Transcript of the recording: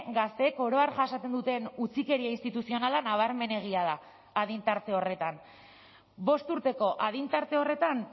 gazteek oro har jasaten duten utzikeria instituzionala nabarmenegia da adin tarte horretan bost urteko adin tarte horretan